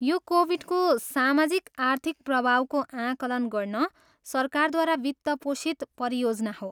यो कोभिडको सामाजिक आर्थिक प्रभावको आकलन गर्न सरकारद्वारा वित्त पोषित परियोजना हो।